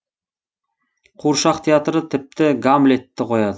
қуыршақ театры тіпті гамлетті қояды